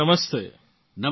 Modiji Namaste